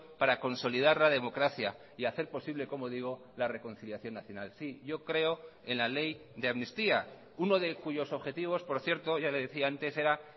para consolidar la democracia y hacer posible como digo la reconciliación nacional sí yo creo en la ley de amnistía uno de cuyos objetivos por cierto ya le decía antes era